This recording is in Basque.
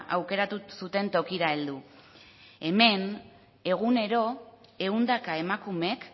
aukeratu zuten tokira heldu hemen egunero ehundaka emakumek